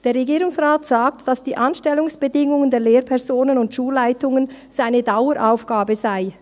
Der Regierungsrat sagt, dass die Anstellungsbedingungen der Lehrpersonen und Schulleitungen eine Daueraufgabe seien.